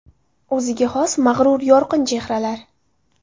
O‘ziga xos mag‘rur, yorqin chehralar.